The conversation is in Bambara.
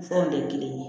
Fɔ de ye kelen ye